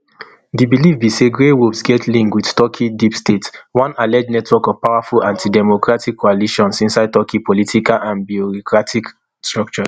di belief be say grey wolves get link wit turkey deep state one alleged network of powerful antidemocratic coalitions inside turkey political and bureaucratic structures